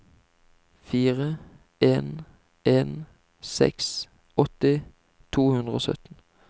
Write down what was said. fire en en seks åtti to hundre og sytten